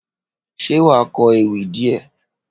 Ṣé wàá kọ ewì díè?